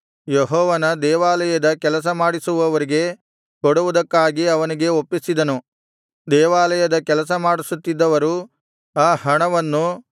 ಯೆಹೋವನ ದೇವಾಲಯದ ಕೆಲಸಮಾಡಿಸುವವರಿಗೆ ಕೊಡುವುದಕ್ಕಾಗಿ ಅವನಿಗೆ ಒಪ್ಪಿಸಿದರು ದೇವಾಲಯದ ಕೆಲಸಮಾಡಿಸುತ್ತಿದ್ದವರು ಆ ಹಣವನ್ನು